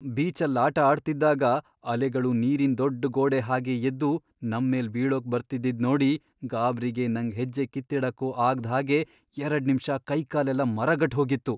ಬೀಚಲ್ಲ್ ಆಟ ಆಡ್ತಿದ್ದಾಗ ಅಲೆಗಳು ನೀರಿನ್ ದೊಡ್ಡ್ ಗೋಡೆ ಹಾಗ್ ಎದ್ದು ನಮ್ಮೇಲ್ ಬೀಳೋಕ್ ಬರ್ತಿದ್ದಿದ್ ನೋಡಿ ಗಾಬ್ರಿಗೆ ನಂಗ್ ಹೆಜ್ಜೆ ಕಿತ್ತಿಡಕ್ಕೂ ಆಗ್ದ್ ಹಾಗೆ ಎರಡ್ನಿಮ್ಷ ಕೈಕಾಲೆಲ್ಲ ಮರಗಟ್ಹೋಗಿತ್ತು.